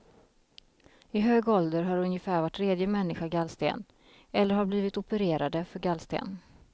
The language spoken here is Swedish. I hög ålder har ungefär var tredje människa gallsten, eller har blivit opererade för gallsten.